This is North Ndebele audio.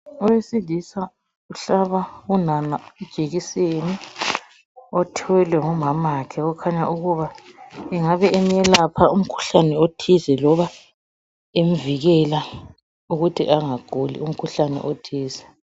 Owesilisa uhlaba unana ijekiseni othwelwe ngumamakhe okhanya ukuba engabe emelapha umkhuhlane othize loba emvikela ukuthi angaguli umkhuhlane othize.